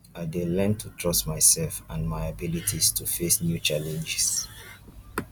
i dey learn to trust myself and my abilities to face new challenges